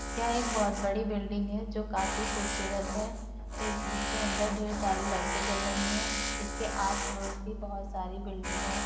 यह एक बहुत बड़ी बिल्डिंग हैजो काफी खूबसूरत है। इस इसके अंदर ढेर सारी लाइटें जल रही हैं इसके आस पड़ोस भी बहुत सारी बिल्डिंग हैं ।